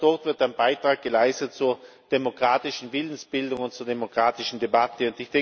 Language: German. Auch dort wird ein Beitrag geleistet zur demokratischen Willensbildung und zur demokratischen Debatte.